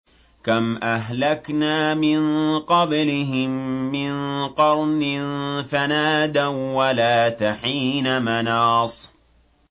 كَمْ أَهْلَكْنَا مِن قَبْلِهِم مِّن قَرْنٍ فَنَادَوا وَّلَاتَ حِينَ مَنَاصٍ